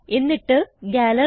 എന്നിട്ട് ഗാലറി